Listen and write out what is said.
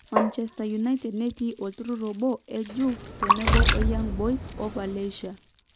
Manchesterunited netii olturur obo e Juve tenebo o Young Boys o Valencia.